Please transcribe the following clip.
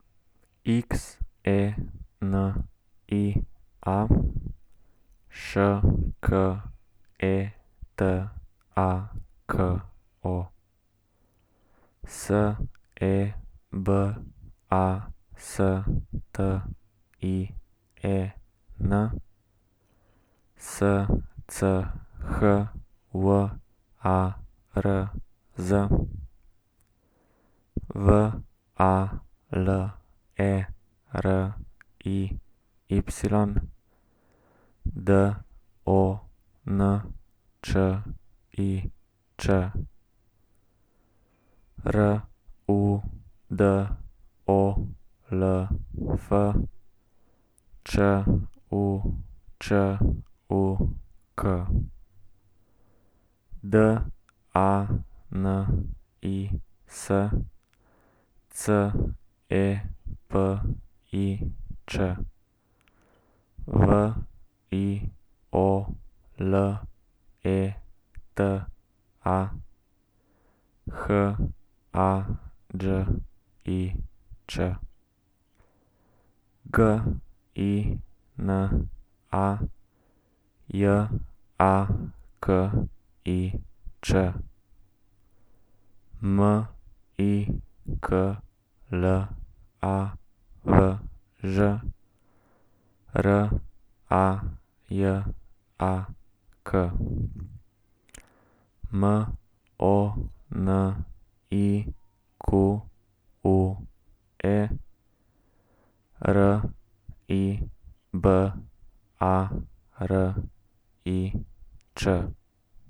Xenia Šketako, Sebastien Schwarz, Valeriy Dončič, Rudolf Čučuk, Danis Cepič, Violeta Hađić, Gina Jakić, Miklavž Rajak, Monique Ribarić.